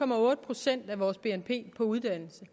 procent af vores bnp på uddannelse